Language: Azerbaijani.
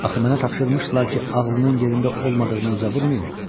Axı mənə tapşırmışdılar ki, ağlının yerində olmadığını üzə vurmayım.